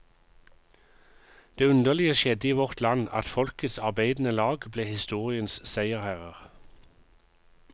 Det underlige skjedde i vårt land, at folkets arbeidende lag ble historiens seierherrer.